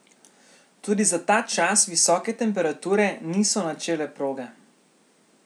Tudi za ta čas visoke temperature niso načele proge.